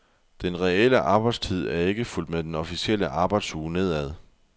Den reelle arbejdstid er ikke fulgt med den officielle arbejdsuge nedad.